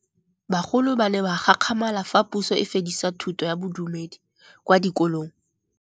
Bagolo ba ne ba gakgamala fa Pusô e fedisa thutô ya Bodumedi kwa dikolong.